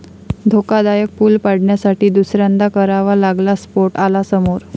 धोकादायक पूल पाडण्यासाठी दुसऱ्यांदा करावा लागला स्फोट, आला समोर